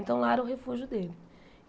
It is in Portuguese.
Então lá era o refúgio dele.